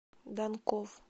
данков